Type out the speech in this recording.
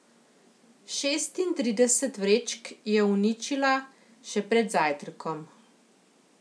Šestintrideset vrečk je uničila še pred zajtrkom.